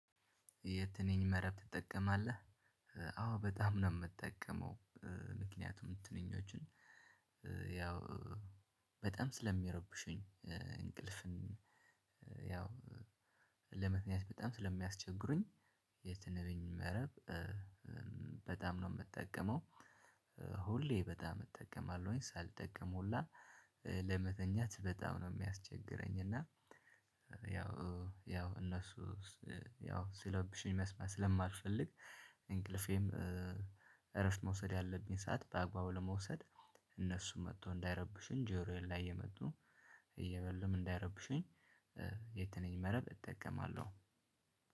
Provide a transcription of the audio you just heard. የትንኝ መረብ ትጠቀማለህ? አዎ በጣም ነው ምጠቀመው። ምክንያቱም ትንኞችን ያው በጣም ስለሚረብሹኝ እንቅልፍን ያው ለምክንያት በጣም ስለሚያስቸግሩኝ። የትንቢኝ መረብ በጣም ነው ምጠቀመው። ሁሌ በጣም እጠቀማለሁኝ ሳልጠቀም ሁላ ለመተኛት በጣም ነው የሚያስቸግረኝ። እና ያው ያው እነሱ ያው ሲለብሹኝ መስማት ስለማልፈልግ። እንቅልፌም እረፍት መውሰድ ያለብኝ ሰዓት በአግባቡ ለመውሰድ። እነሱም መጥቶ እንዳይረብሽኝ ጆሮዬን ላይ የመጡ እየበሉም እንዳይረብሽኝ። የትንኝ መረብ እጠቀማለሁ።